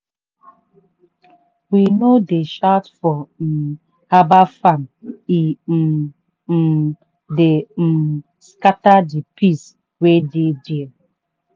we no dey shout for um herbal farm e um um dey um scatter the peace wey dey there.